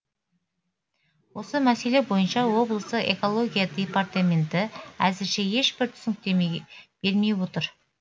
осы мәселе бойынша облыста экология департаменті әзірше ешбір түсініктеме бермей отыр